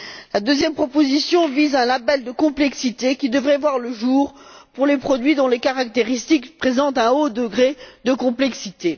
La deuxième proposition vise un label de complexité qui devrait voir le jour pour les produits dont les caractéristiques présentent un haut degré de complexité.